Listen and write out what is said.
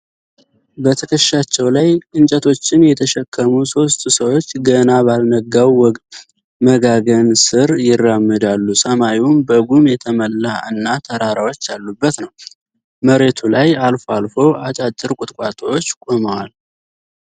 በትከሻቸው ላይ እንጨቶችን የተሸከሙ ሶስት ሰዎች ገና ባልነጋው መጋገን ስር ይራመዳሉ። ሰማዩም በጉም የተሞላ እና ተራራዎች ያሉበት ነው። መሬቱ ላይ አልፎ አልፎ አጫጭር ቁጥቋጦዎች ቆመዋል።